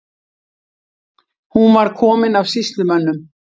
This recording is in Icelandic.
Hún var komin af sýslumönnum.